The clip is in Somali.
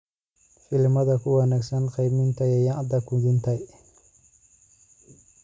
filimada ku wanaagsan qiimeynta yaanyada qudhuntay